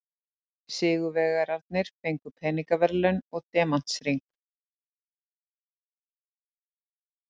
Sigurvegararnir fengu peningaverðlaun og demantshring